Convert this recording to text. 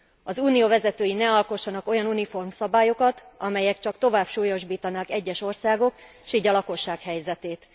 Az Unió vezetői ne alkossanak olyan uniform szabályokat, amelyek csak tovább súlyosbítanák egyes országok, s így a lakosság helyzetét.